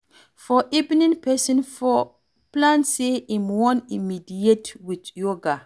For evening, person for plan sey im wan meditate with yoga